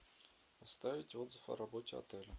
оставить отзыв о работе отеля